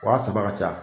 Wa saba ka ca